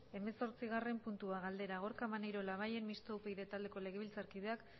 hemezortzigarren puntua galdera gorka maneiro labayen mistoa upyd taldeko legebiltzarkideak